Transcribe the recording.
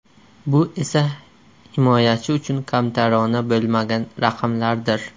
Bu esa himoyachi uchun kamtarona bo‘lmagan raqamlardir.